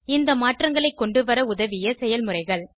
இந்த மாற்றங்களை கொண்டுவர உதவிய செயல்முறைகள்